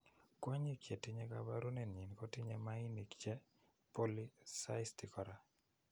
kwonyik chetinye koporunenyin kotinye mainik che polycystic kora.